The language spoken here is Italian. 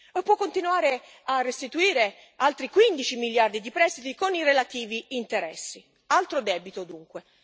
E può continuare a restituire altri 15 miliardi di prestiti con i relativi interessi altro debito dunque.